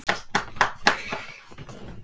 Ég get ekki látið drenginn minn frá mér!